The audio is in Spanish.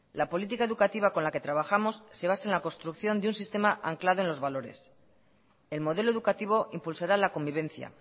la política educativa con la que trabajamos se basa en la construcción de un sistema anclado en los valores el modelo educativo impulsará la convivencia